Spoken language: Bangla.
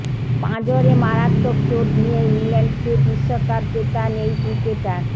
পাঁজরে মারাত্মক চোট নিয়েই ইংল্যান্ডকে বিশ্বকাপ জেতান এই ক্রিকেটার